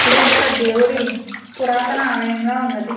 ఇది ఒక దేవుడి పురాతన ఆలయం లా ఉన్నది.